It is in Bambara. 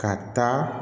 Ka taa